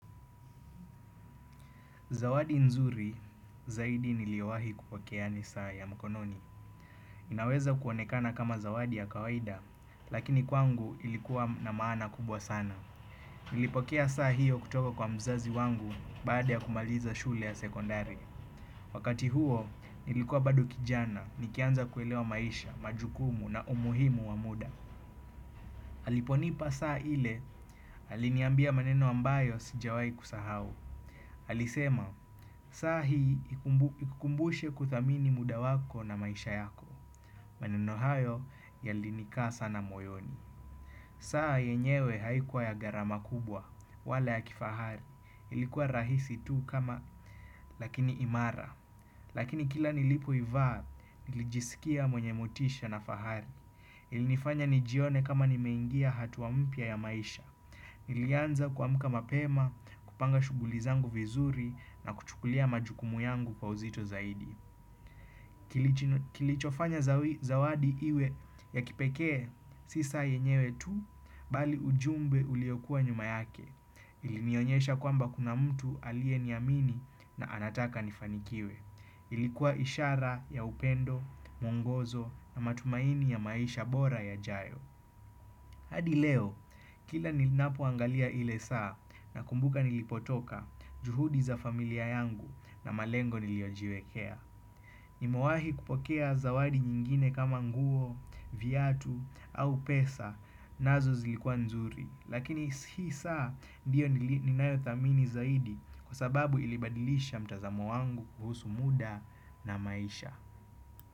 Zawadi nzuri zaidi niliowahi kupokea ni saa ya mkononi. Inaweza kuonekana kama zawadi ya kawaida, lakini kwangu ilikuwa na maana kubwa sana. Nilipokea saa hiyo kutoka kwa mzazi wangu baada ya kumaliza shule ya sekondari. Wakati huo, nilikuwa bado kijana, nikianza kuelewa maisha, majukumu na umuhimu wa muda. Aliponipa saa ile, aliniambia maneno ambayo sijawai kusahau. Alisema, saa hii ikukumbushe kuthamini muda wako na maisha yako. Maneno hayo yalinikaa sana moyoni. Saa yenyewe haikuwa ya garama kubwa. Wala ya kifahari ilikuwa rahisi tu kama lakini imara. Lakini kila nilipoivaa nilijisikia mwenye motisha na fahari. Ilinifanya nijione kama nimeingia hatua mpya ya maisha. Nilianza kuamka mapema, kupanga shughuli zangu vizuri. Na kuchukulia majukumu yangu kwa uzito zaidi. Kilichofanya zawadi iwe ya kipekee si saa yenyewe tu bali ujumbe uliokuwa nyuma yake. Ilinionyesha kwamba kuna mtu aliyeniamini. Na anataka nifanikiwe. Ilikuwa ishara ya upendo, mwongozo na matumaini ya maisha bora yajayo. Hadi leo, kila ninapoangalia ile saa nakumbuka nilipotoka juhudi za familia yangu na malengo niliojiwekea. Nimawahi kupokea zawadi nyingine kama nguo, viatu au pesa. Nazo zilikua nzuri. Lakini hii saa ndiyo ninayothamini zaidi. Kwa sababu ilibadilisha mtazamo wangu kuhusu muda na maisha.